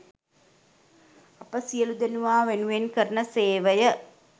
අප සියළුදෙනා වෙනුවෙන් කරන සේවය